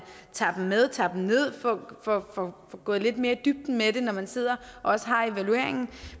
tager dem med at man tager dem ned og får gået lidt mere i dybden med det når man sidder og også har evalueringen